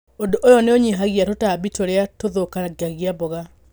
Ũndũ ũyũ nĩ ũnyihagia tũtambi tũrĩa tũthũkangagia mboga.